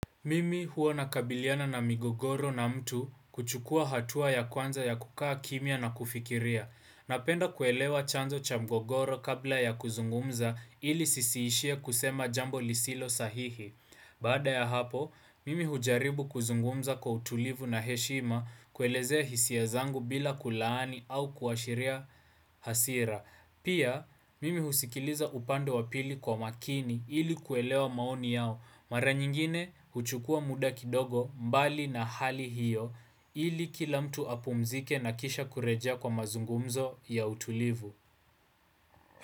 Mimi huwa na kabiliana na migogoro na mtu kuchukua hatua ya kwanza ya kukaa kimia na kufikiria. Napenda kuelewa chanzo cha migogoro kabla ya kuzungumza ili sisiishia kusema jambo lisilo sahihi. Baada ya hapo, mimi hujaribu kuzungumza kwa utulivu na heshima kuelezea hisia zangu bila kulaani au kuashiria hasira. Pia, mimi husikiliza upande wa pili kwa makini ili kuelewa maoni yao. Mara nyingine huchukua muda kidogo mbali na hali hiyo ili kila mtu apumzike na kisha kurejea kwa mazungumzo ya utulivu.